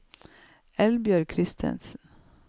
Eldbjørg Christensen